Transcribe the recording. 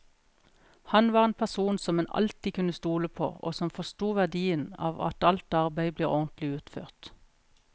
Han var en person som en alltid kunne stole på, og som forsto verdien av at alt arbeid blir ordentlig utført.